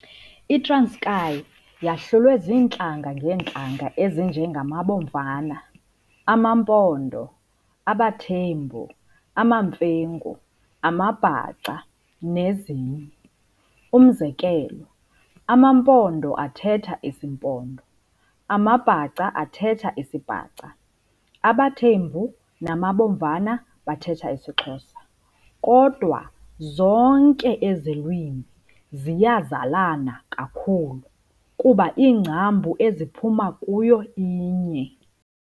ITranskei yahlulwe ziintlanga ngeentlanga ezinje ngamaBomvana, amaMpondo, abaThembu, amaMfengu, amaBhaca, nezinye. Umzekelo, amaMpondo athetha isiMpondo, amaBhaca athetha isiBhaca, abaThembu namaBomvana bathetha isiXhosa. Kodwa zonke ezi lwimi ziyazalana kakhulu, kuba ingcambu eziphuma kuyo inye.